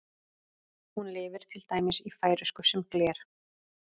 Hún lifir til dæmis í færeysku sem gler.